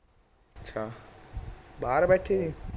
ਅੱਛਾ ਬਾਹਰ ਬੈਠੇ ਸੀ